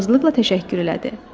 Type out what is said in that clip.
Razılıqla təşəkkür elədi.